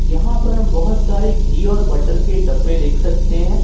यहां पर हम बहुत सारे घी और बटर के डब्बे देख सकते हैं।